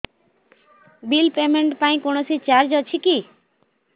bill payment ପାଇଁ କୌଣସି charge ଅଛି କି